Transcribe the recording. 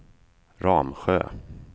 Ramsjö